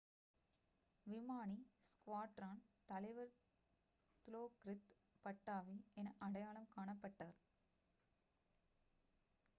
விமானி ஸ்குவாட்ரான் தலைவர் திலோக்ரித் பட்டாவி என அடையாளம் காணப்பட்டார்